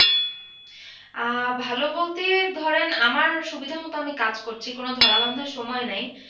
আহ ভালো বলতে ধরেন আমার সুবিধামতো আমি কাজ করছি কোনো ধরাবাধা সময় নেই।